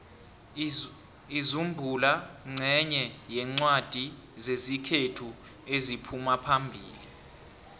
inzubhula nqenye yencwadi zesikhethu eziphumaphambili